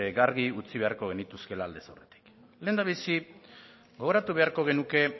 garbi utzi beharko genituzkeela aldez aurretik lehendabizi gogoratu beharko genuke